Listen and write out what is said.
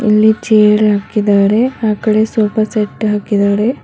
ಇಲ್ಲಿ ಚೇರ್ ಹಾಕಿದಾರೆ ಆ ಕಡೆ ಸೋಫಾ ಸೆಟ್ ಹಾಕಿದಾರೆ.